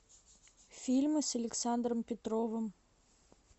фильмы с александром петровым